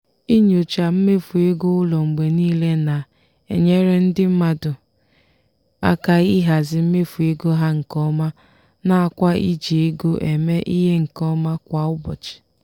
inyocha mmefu ego ụlọ mgbe niile na-enyere ndị mmadụ aka ịhazi mmefu ego ha nke ọma nakwa iji ego eme ihe nke ọma kwa ụbọchị.